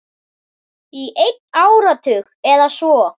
Í einn áratug eða svo.